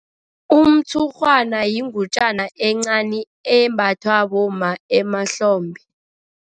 Umtshurhwana yingutjana encani embathwa bomma emahlombe.